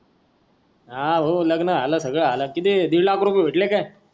हा भाऊ लग्न झाल सगळ झाल किती दीड लाख रुपय भेटले काय